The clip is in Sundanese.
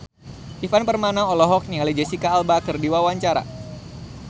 Ivan Permana olohok ningali Jesicca Alba keur diwawancara